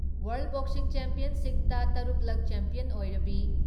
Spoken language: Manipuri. ꯋꯥꯔꯜ ꯕꯣꯛꯁꯤꯡ ꯆꯦꯝꯄꯤꯌꯟꯁꯤꯞꯇ ꯇꯔꯨꯛ ꯂꯛ ꯆꯦꯄꯤꯌꯟ ꯑꯣꯏꯔꯕꯤ